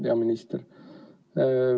Hea minister!